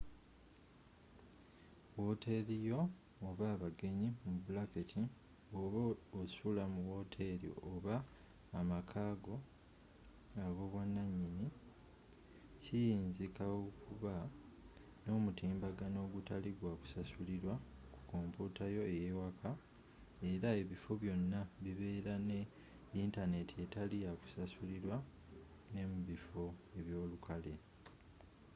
wooteli yo oba abagenyi bwoba osula mu wooteri oba amaka go ab’obwananyini kiyinzika okuba n’omutimbagano ogutali gwa kusasulirwa ku komputa yo eyewaka era ebifo byona bibera ne yintaneti etali yakusasulirwa ne mubifo ebyolukale